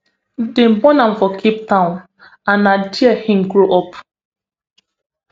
dem born am for cape town and na dia im grow up